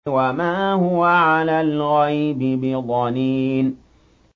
وَمَا هُوَ عَلَى الْغَيْبِ بِضَنِينٍ